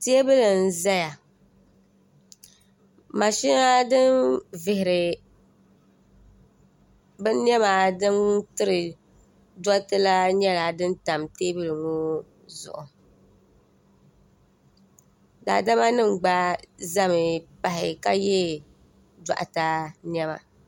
Teebuli n-ʒeya mashina din vihiri binniɛma din tiri dɔr'ti la nyɛla din tam teebuli ŋɔ zuɣu daadamanima gba ʒemi pahi ka ye dɔɣiteniɛma.